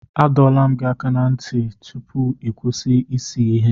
Adọla m gị aka na ntị tupu ị kwụsị ịse ihe.